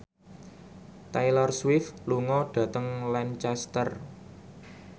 Taylor Swift lunga dhateng Lancaster